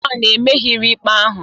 John emerighị ikpe ahụ